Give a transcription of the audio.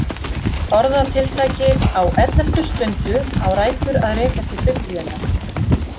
Orðatiltækið á elleftu stundu á rætur að rekja til Biblíunnar.